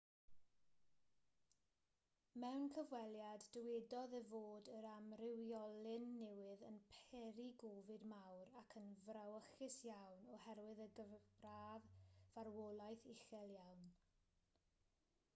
mewn cyfweliad dywedodd e fod yr amrywiolyn newydd yn peri gofid mawr ac yn frawychus iawn oherwydd y gyfradd farwolaeth uchel iawn